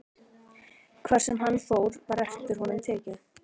Hvar sem hann fór var eftir honum tekið.